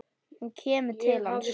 Hún kemur til hans.